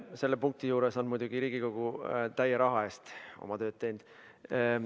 Selle punkti juures on muidugi Riigikogu täie raha eest oma tööd teinud.